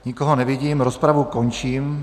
Nikoho nevidím, rozpravu končím.